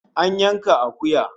An yanka akuya